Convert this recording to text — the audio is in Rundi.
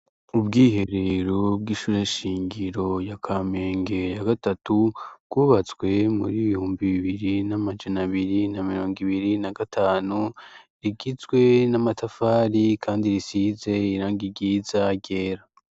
Ubwiherero bw'ishure shingiro ya Kamenge ya gatatu ,bwubatswe muri ibihumbi bibiri n'amajana abiri na mirongo ibiri na gatanu, rigizwe n'amatafari kandi risize irangi ryiza ryera .